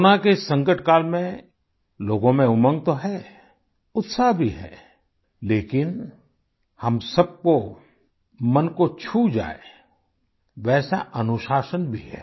corona के इस संकट काल में लोगों में उमंग तो है उत्साह भी है लेकिन हम सबको मन को छू जाए वैसा अनुशासन भी है